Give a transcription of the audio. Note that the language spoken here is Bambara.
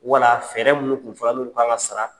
Wala minnu tun fɔla, n'olu k'an ka sara.